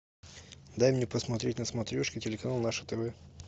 дай мне посмотреть на смотрешке телеканал наше тв